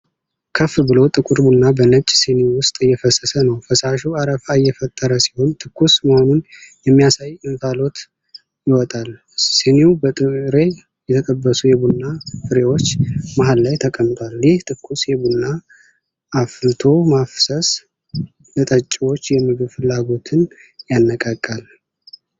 ከፍ ብሎ ጥቁር ቡና በነጭ ስኒ ውስጥ እየፈሰሰ ነው። ፈሳሹ አረፋ እየፈጠረ ሲሆን፣ ትኩስ መሆኑን የሚያሳይ እንፋሎት ይወጣል። ስኒው በጥሬ የተጠበሱ የቡና ፍሬዎች መሃል ላይ ተቀምጧል። ይህ ትኩስ የቡና አፍልቶ ማፍሰስ፣ ለጠጪዎች የምግብ ፍላጎትን ያነቃቃል።